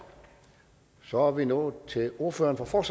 og så er vi nået til ordføreren for